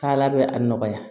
Ala bɛ a nɔgɔya